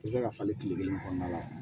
Tɛ se ka falen kile kelen kɔnɔna la